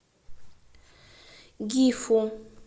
гифу